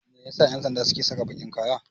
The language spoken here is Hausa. Me yasa 'yansanda suke saka bakin kaya?